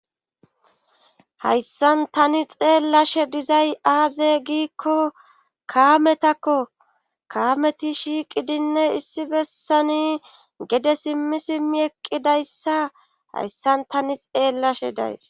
Hayssan tani xeellashe dizay aaze giikko kaametakko kaameti shiiqidinne issi bessani gede simmi simmi eqqidayssa hayssan tani xeellashe days